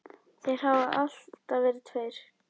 Þeir hafa alltaf verið tveir.